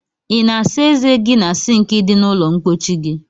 I na asa eze gi na sink di na ulo mpochi gi?